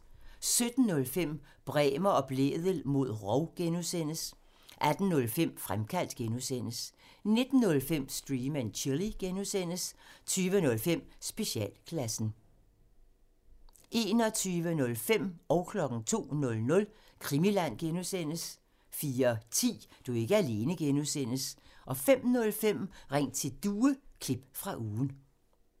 17:05: Bremer og Blædel mod rov (G) 18:05: Fremkaldt (G) 19:05: Stream and Chill (G) 20:05: Specialklassen 21:05: Krimiland (G) 02:00: Krimiland (G) 04:10: Du er ikke alene (G) 05:05: Ring til Due – klip fra ugen